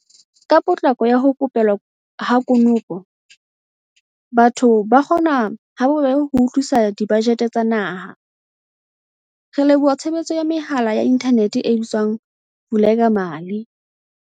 Ka potlako ya ho ko pelwa ha konopo, batho ba kgona ha bobebe ho utlwisisa dibajete tsa naha, re leboha tshebetso ya mehala ya inthanete e bitswang Vulekamali.